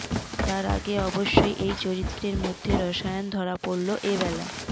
তার আগে অবশ্যই এই চরিত্রদের মধ্যে রসায়ন ধরা পড়ল এবেলা